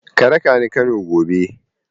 Ka raka ni Kano gobe!